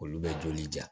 Olu bɛ joli ja